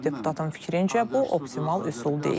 Deputatın fikrincə bu optimal üsul deyil.